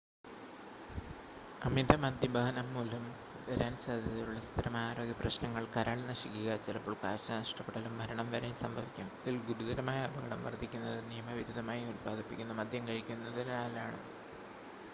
അമിത മദ്യപാനം മൂലം വരാന സാധ്യതയുള്ള സ്ഥിരമായ ആരോഗ്യപ്രശ്നങ്ങൾ കരൾ നശിക്കുക ചിലപ്പോൾ കാഴ്ച നഷ്ടപ്പെടലും മരണം വരെയും സംഭവിക്കാം ഇതിൽ ഗുരുതരമായ അപകടം വർദ്ധിക്കുന്നത് നിയമവിരുദ്ധമായി ഉൽപ്പാദിപ്പിക്കുന്ന മദ്യം കഴിക്കുന്നതിനാലാണ്